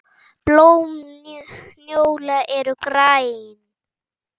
Blóm njóla eru græn.